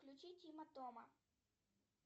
включи тима тома